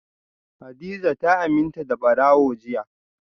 hadiza ta aminta da barawo jiya